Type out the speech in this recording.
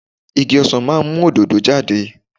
Igi ọsàn máa ń mú òdòdó jáde.